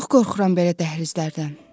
Çox qorxuram belə dəhlizlərdən.